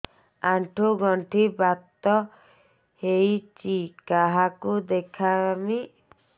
ଆଣ୍ଠୁ ଗଣ୍ଠି ବାତ ହେଇଚି କାହାକୁ ଦେଖାମି